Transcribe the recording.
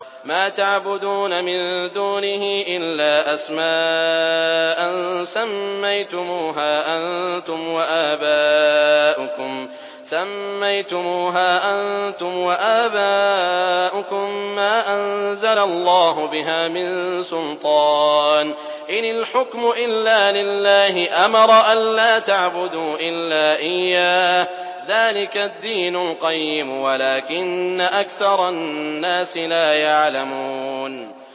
مَا تَعْبُدُونَ مِن دُونِهِ إِلَّا أَسْمَاءً سَمَّيْتُمُوهَا أَنتُمْ وَآبَاؤُكُم مَّا أَنزَلَ اللَّهُ بِهَا مِن سُلْطَانٍ ۚ إِنِ الْحُكْمُ إِلَّا لِلَّهِ ۚ أَمَرَ أَلَّا تَعْبُدُوا إِلَّا إِيَّاهُ ۚ ذَٰلِكَ الدِّينُ الْقَيِّمُ وَلَٰكِنَّ أَكْثَرَ النَّاسِ لَا يَعْلَمُونَ